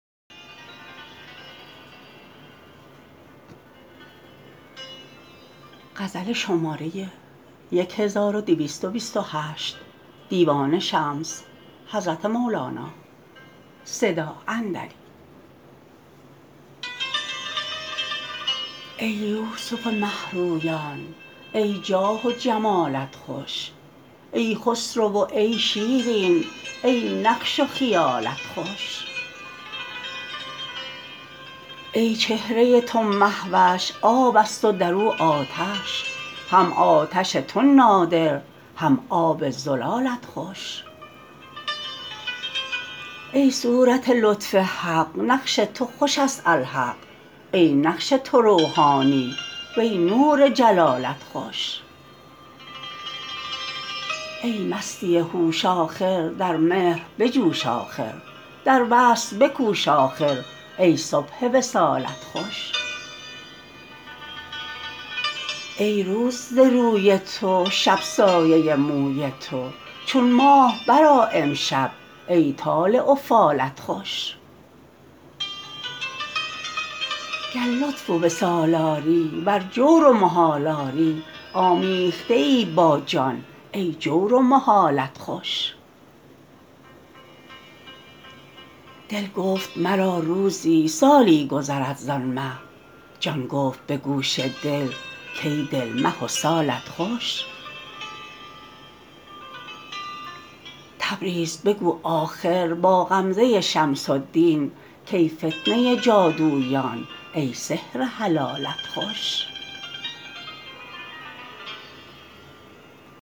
ای یوسف مه رویان ای جاه و جمالت خوش ای خسرو و ای شیرین ای نقش و خیالت خوش ای چهره تو مه وش آب است و در او آتش هم آتش تو نادر هم آب زلالت خوش ای صورت لطف حق نقش تو خوش است الحق ای نقش تو روحانی وی نور جلالت خوش ای مستی هوش آخر در مهر بجوش آخر در وصل بکوش آخر ای صبح وصالت خوش ای روز ز روی تو شب سایه موی تو چون ماه برآ امشب ای طالع و فالت خوش گر لطف و وصال آری ور جور و محال آری آمیخته ای با جان ای جور و محالت خوش دل گفت مرا روزی سالی گذرد زان مه جان گفت به گوش دل کای دل مه و سالت خوش تبریز بگو آخر با غمزه شمس الدین کای فتنه جادویان ای سحر حلالت خوش